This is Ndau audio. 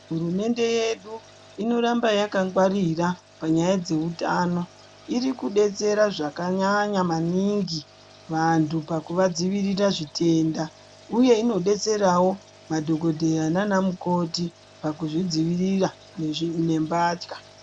Hurumende yedu inoramba yakangwarira panyaya dzeutano irikudetsera zvakanyanya maningi vanthu pakuvadzivirira zvitenda uye inodetserawo madhokodheya nanamukoti pakzvidzivirira nembatya.